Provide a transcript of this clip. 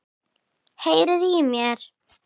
Heyriði í mér?